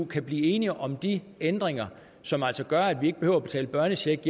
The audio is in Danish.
kan blive enige om de ændringer som altså gør at vi ikke behøver at betale børnecheck